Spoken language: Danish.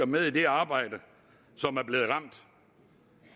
med i det arbejde det